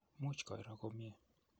much koiro komye